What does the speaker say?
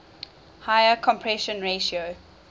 higher compression ratio